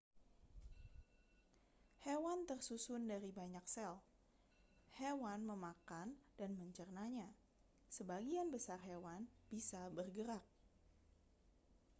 hewan tersusun dari banyak sel hewan memakan dan mencernanya sebagian besar hewan bisa bergerak